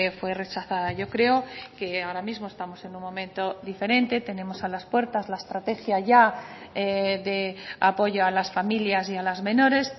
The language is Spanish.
fue rechazada yo creo que ahora mismo estamos en un momento diferente tenemos a las puertas la estrategia ya de apoyo a las familias y a las menores